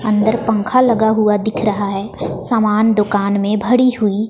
अंदर पंखा लगा हुआ दिख रहा है समान दुकान में भरी हुई--